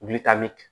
Wuli taa ni